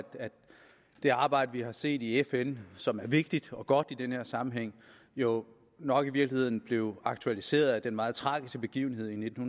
det arbejde vi hat set i fn som er vigtigt og godt i den her sammenhæng jo nok i virkeligheden blev aktualiseret af den meget tragiske begivenhed i nitten